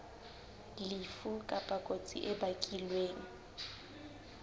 lefu kapa kotsi e bakilweng